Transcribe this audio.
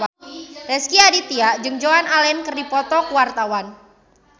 Rezky Aditya jeung Joan Allen keur dipoto ku wartawan